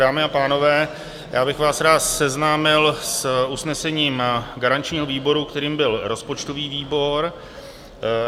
Dámy a pánové, já bych vás rád seznámil s usnesením garančního výboru, kterým byl rozpočtový výbor.